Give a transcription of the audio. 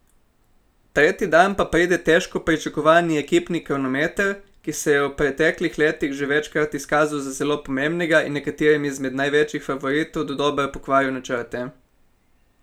Tretji dan pa pride težko pričakovani ekipni kronometer, ki se je v preteklih letih že večkrat izkazal za zelo pomembnega in nekaterim izmed največjih favoritov dodobra pokvaril načrte.